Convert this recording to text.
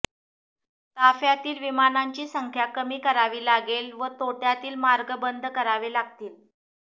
ताफ्यातील विमानांची संख्या कमी करावी लागेल व तोट्यातील मार्ग बंद करावे लागतील